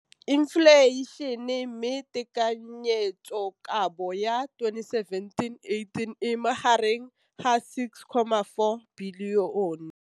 Infleišene, mme tekanyetsokabo ya 2017, 18, e magareng ga R6.4 bilione.